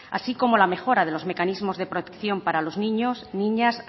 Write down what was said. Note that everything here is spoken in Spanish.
así como la mejora de los mecanismos de protección para los niños niñas